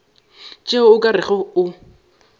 tšeo o ka rego o